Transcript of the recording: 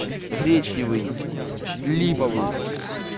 гречневый липовый